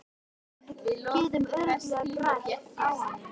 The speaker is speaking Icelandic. Við getum örugglega grætt á honum.